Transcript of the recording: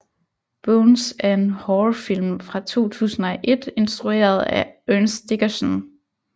Bones er en horrorfilm fra 2001 instrueret af Ernest Dickerson